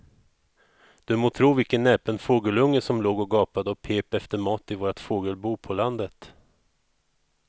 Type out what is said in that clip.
Du må tro vilken näpen fågelunge som låg och gapade och pep efter mat i vårt fågelbo på landet.